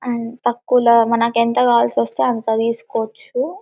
అం తక్కువలో మనకి ఎంత కావాల్సొస్తే అంత తీస్కోవచ్చు.